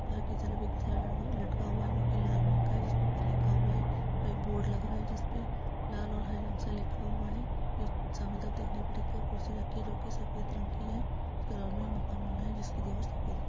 बाहर की तरफ एक थैला लेहा लटका हुआ है जोकी लाल रंग का है। जिसपे कुछ लिखा हुआ है। एक बोर्ड लग रहा है। जिसपे लाल और हरे रंग से लिखा हुआ है। और बी सामने के तरफ देखने पे एक कुर्सी रखी जोकी सफेद रंग की हैं । उसके बराबर एक में मकान बना है जिसकी दीवार सफेद रंग--